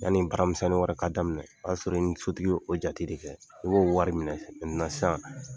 Yani baaramisɛnnin wɛrɛ ka daminɛ o y'a sɔrɔ i ni sotigi ye o jate de kɛ i b'o wari minɛ sisan.